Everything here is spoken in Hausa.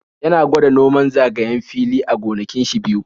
Ya na gwada noman zagayen fili a gonakin shi biyu.